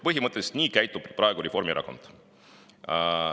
" Põhimõtteliselt nii käitub praegu Reformierakond.